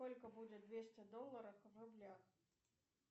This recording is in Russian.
сколько будет двести долларов в рублях